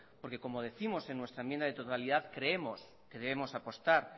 porque como décimos en nuestra enmienda de totalidad creemos que debemos apostar